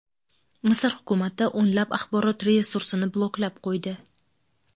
Misr hukumati o‘nlab axborot resursini bloklab qo‘ydi.